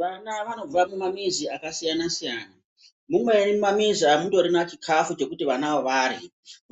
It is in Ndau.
Vana vanobva mumamizi akasiyana siyana mumweni mumamizi amutorina chikafu chekuti vanavo vahya